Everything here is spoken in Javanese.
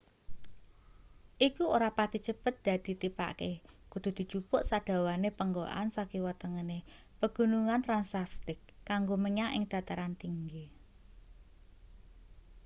iku ora pati cepet dadi tipake kudu dijupuk sadawane penggokan sakiwa tengene pegunungan transacctic kanggo menyang ing dataran tinggi